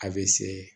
A bɛ se